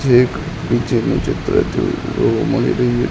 છેક નીચેનું ચિત્ર જેવુ જોવા મળી રહ્યુ--